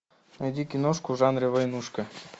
найди киношку в жанре войнушка